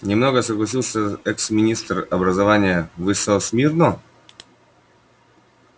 не много согласился экс-министр образования вы со смирно